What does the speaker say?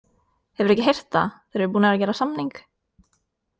Hefurðu ekki heyrt það, þeir eru búnir að gera samning!